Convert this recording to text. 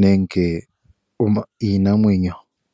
nenge iinamwenyo.